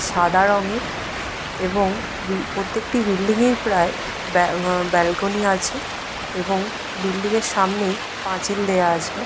সাদা রংয়ের এবং প্রত্যেকটি বিল্ডিং - এর প্রায় ব্যালকনি আছে এবং বিল্ডিং - এর সামনে পাঁচিল দেয়া আছে।